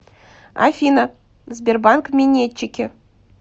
афина сбербанк минетчики